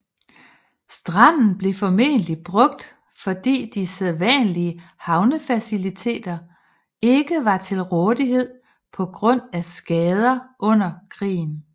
Stranden blev formentlig brugt fordi de sædvanlige havnefaciliteter ikke var til rådighed på grund af skader under krigen